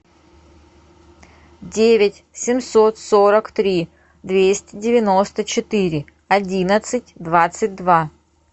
девять семьсот сорок три двести девяносто четыре одиннадцать двадцать два